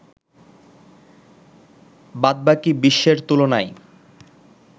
বাদবাকি বিশ্বের তুলনায়